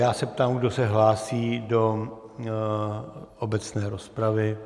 Já se ptám, kdo se hlásí do obecné rozpravy.